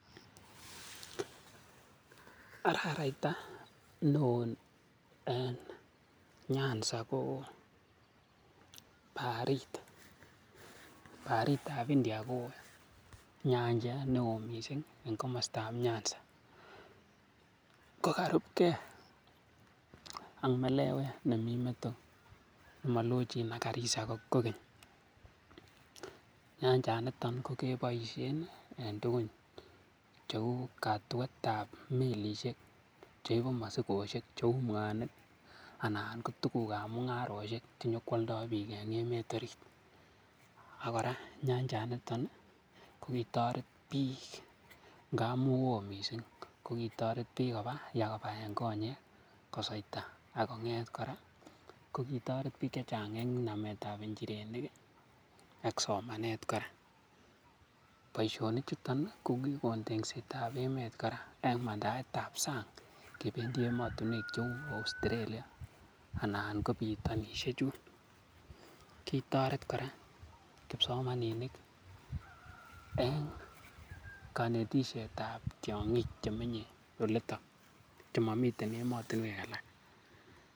Araraita neo en Nyanza ko barit. Baritab India kowo. Nyanjet neo mising en komostab Nyanza. Ko karubge ak melewet nemi meto molochin ak Garissa kogeny. Nyanjanito keboisie en tugun cheu katuet ab melishek che ibu mosikoshek. Cheu mwanik anan ko tuguk ab mung'arosiek chenyo koalda biik en emet orit. Ak kora nyanjanito kogitoret biik ngamun woo mising. Kogitoret biik nyo kobaen konyek kosweita ak kong'et kora kogitoret biik che chang en nametab injirenik ak somanet kora. Boisionik chuto kogikon tekset ab emet kora en mandaet ab sang kebendi emotinwek cheu Australia anan kobitonishechun. Kitoret kora kipsomaninik en konetishetab tiong'ik chemenye olito chemomiten emotinwek alak.